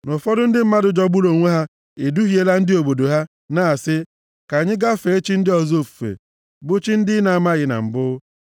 na ụfọdụ ndị mmadụ jọgburu onwe ha eduhiela ndị obodo ha, na-asị, “Ka anyị gaa fee chi ndị ọzọ ofufe” (bụ chi ndị ị na-amaghị na mbụ),